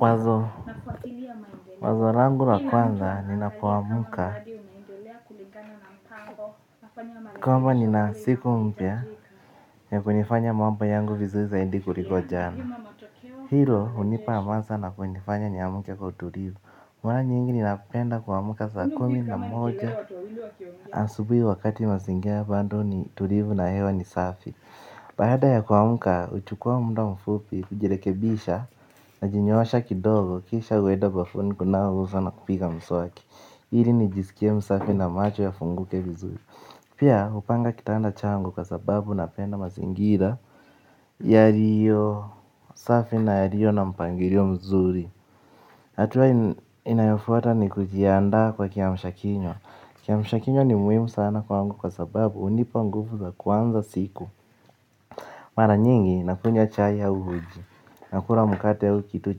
Wazo wazo langu wa kwanza ni napomka nika ma nina siku mpya ya kunifanya mambo yangu vizuri zaindi kuliko jana hilo unipa amansa na kunifanya ni amke kwa utulivu mara nyingi ni napenda kua mka saa kumi na moja asubui wakati mazingira bado ni tulivu na hewa ni safi baada ya kua mka, uchukua mda mfupi, ujilekebisha, na jinyoosha kidogo, kisha ueda bafuni kunawa uso na kupiga mswaki ili nijiskie msafi na macho ya funguke vizuri pia hupanga kitanda changu kwa sababu napenda mazingira yaliyosafi na yaliyo na mpangilio mzuri. Hatua inayofuata ni kujia ndaa kwa kia mshakinywa. Kia mshakinywa ni muhimu sana kwa ngu kwa sababu unipa nguvu za kuanza siku. Mara nyingi, nakunywa chai ya uji, nakula mkate au kitu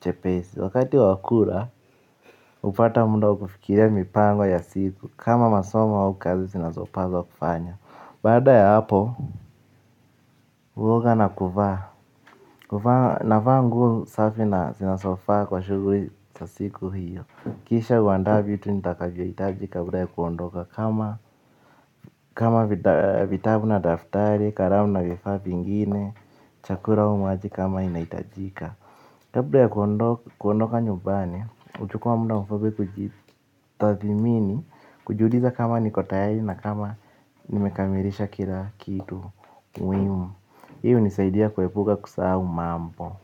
chepesi. Wakati wakura, upata mda wa kufikiria mipango ya siku kama masomo a ukazi zinazopazwa kufanya. Baada ya hapo, uoga na kuvaa. Kuvaa, na vaa nguo safi na zinazofa kwa shuguri sasiku hiyo. Kisha uandaa vitu nitakavyo itaji kabla ya kuondoka kama kama vitabu na daftari, karamu na vifaa vingine chakula au maji kama inahitajika kabla ya kuondoka nyumbani uchukua mda mfupi kuijtathmini. Kujiuliza kama nikotayari na kama nimekamirisha kila kitu. Muhimu hii u nisaidia kuepuka kusahau mambo.